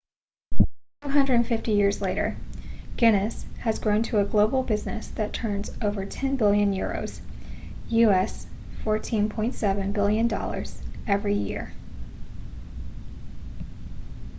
250 years later guinness has grown to a global business that turns over 10 billion euros us$14.7 billion every year